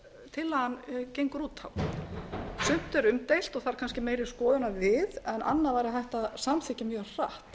tillagan gengur út á sumt er umdeilt og þarf kannski meiri skoðunar við en annað væri hægt að samþykkja mjög hratt